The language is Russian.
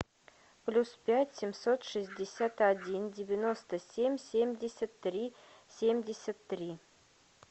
плюс пять семьсот шестьдесят один девяносто семь семьдесят три семьдесят три